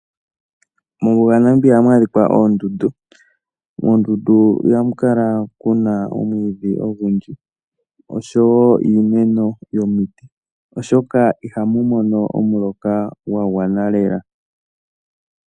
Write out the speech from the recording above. Mombuga yaNamibia ohamu adhika oondundu mondundu ohamu kala muna omwiidhi oshowo iimeno yomiti oshoka ihamu mono omuloka gwa gwana lela.